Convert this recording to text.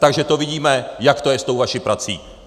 Takže to vidíme, jak to je s tou vaší prací!